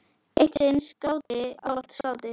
Eitt sinn skáti, ávallt skáti.